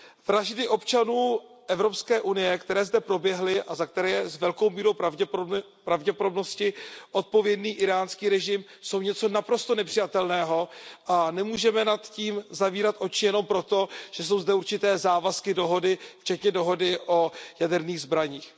Vraždy občanů EU, které zde proběhly a za které je s velkou mírou pravděpodobnosti odpovědný íránský režim, jsou něco naprosto nepřijatelného a nemůžeme nad tím zavírat oči jenom proto, že jsou zde určité závazky, dohody, včetně dohody o jaderných zbraních.